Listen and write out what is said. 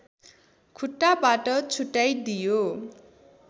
खुट्टाबाट छुट्टाइदियो